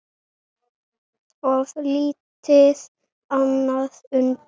Of lítið annað undir.